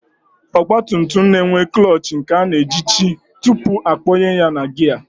Ọgbatumtum na-enwe klọọchị nke a na-ejichi tupu akpọnye ya na gịya